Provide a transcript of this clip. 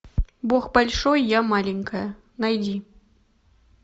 бог большой я маленькая найди